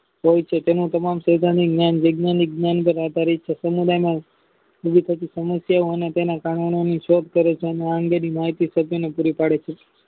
હોય છે તેનું તમામ સાહજિક જ્ઞાન પાર આધારિત છે તેને વિવિધ સમસ્યા અને તેના કારણો ની ચેટ કરે છે અને આ અંગેની માહિતી પુરી પાડે છે